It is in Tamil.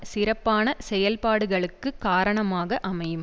சிறப்பான செயல்பாடுகளுக்குக் காரணமாக அமையும்